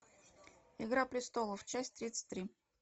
игра престолов часть тридцать три